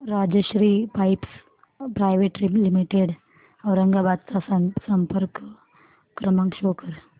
Rajshri pipes private limited Aurangabad चा संपर्क क्रमांक शो कर